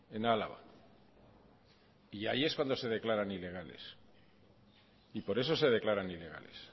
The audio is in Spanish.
en álava y allí es cuando se declaran ilegales y por eso se declaran ilegales